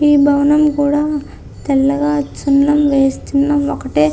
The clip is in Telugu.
ఈ భవనం కూడా తెల్లగా సున్నం వేసి సున్నం ఒకటే --